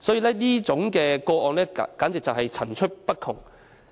所以，這些個案簡直層出不窮。